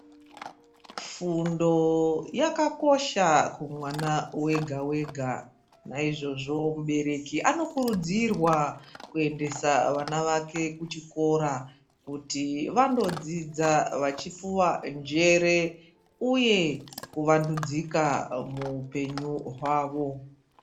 Fundo yakakosha kumwana wega wega ,naizvozvo mubereki anokurudzirwa kuendesa vana vake kuchikora kuti vanodzidza vachipuwa njere uye kuvandudzika muupenyu hwavo.